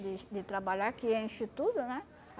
de de trabalhar que enche tudo, né?